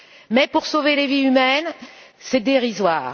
Mais pour sauver des vies humaines, c'est dérisoire.